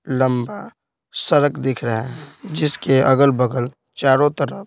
लंबा सड़क दिख रहा है जिसके अगल-बगल चारों तरफ--